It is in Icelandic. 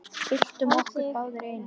Byltum okkur báðar í einu.